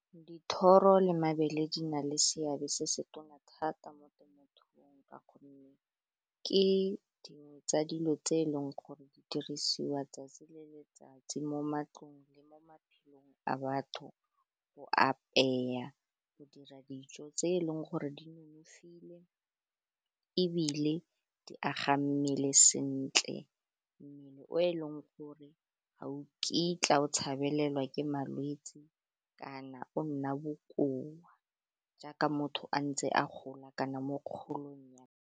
Dithoro le mabele di na le seabe se se tona thata mo temothuong ka gonne ke dingwe tsa dilo tse e leng gore di dirisiwa tsatsi le letsatsi mo matlong le mo maphelong a batho go apeya go dira dijo tse e leng gore di nonofile ebile di aga mmele sentle, o e leng gore ga o kitla o tshabelelwe ke malwetse kana o nna bokoa jaaka motho a ntse a gola kana mo kgolong.